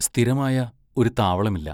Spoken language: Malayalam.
സ്ഥിരമായ ഒരു താവളമില്ല.